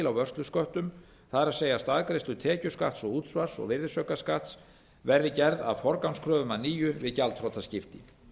vörslusköttum það er staðgreiðslu tekjuskatts og útsvars og virðisaukaskatts verði gerð að forgangskröfum að nýju við gjaldþrotaskipti